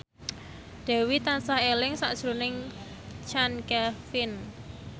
Dewi tansah eling sakjroning Chand Kelvin